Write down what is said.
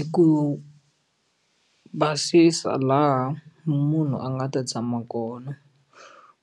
I ku basisa laha munhu a nga ta tshama kona